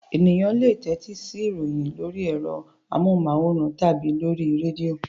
Ènìyàn le tẹ́tí sí ìròyìn lórí ẹ̀rọ amóhùmáwòhán tàbí lórí rédíò.